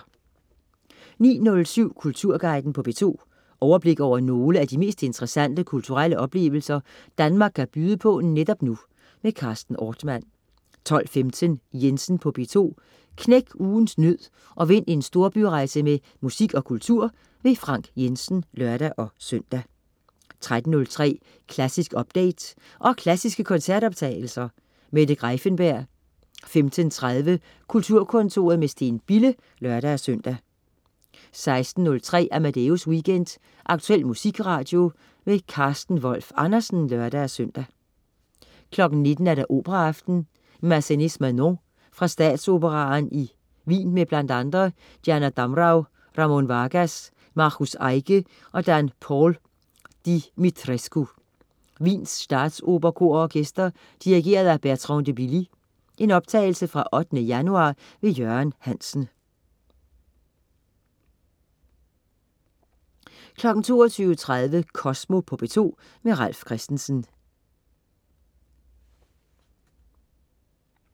09.07 Kulturguiden på P2. Overblik over nogle af de mest interessante kulturelle oplevelser, Danmark kan byde på netop nu. Carsten Ortmann 12.15 Jensen på P2. Knæk ugens nød og vind en storbyrejse med musik og kultur. Frank Jensen (lør-søn) 13.03 Klassisk update. Og klassiske koncertoptagelser. Mette Greiffenberg 15.30 Kulturkontoret med Steen Bille (lør-søn) 16.03 Amadeus Weekend. Aktuel musikradio. Carsten Wolf Andersen (lør-søn) 19.00 Operaaften. Massenet: Manon, fra Statsoperaen i Wienmed bl.a. Diana Damrau, Ramón Vargas, Markus Eiche og Dan Paul Dumitrescu. Wiens Statsoperas Kor og Orkester. Dirigent: Bertrand de Billy. (Optagelse fra 8. januar). Jørgen Hansen 22.30 Kosmo på P2. Ralf Christensen